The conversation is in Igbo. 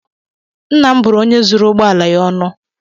Nna m bụrụ onye zuru ụgbọ ala ya ọnụ